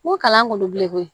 N ko kalan kolo bilen koyi